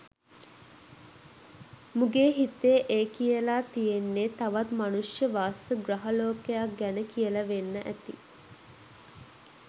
මුගේ හිතේ ඒ කියලා තියෙන්නේ තවත් මනුෂ්‍ය වාස ග්‍රහ ලෝකයක් ගැන කියල වෙන්න ඇති.